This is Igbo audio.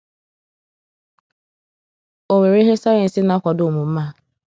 Ọ nwere ihe sayensị na-akwado omume a?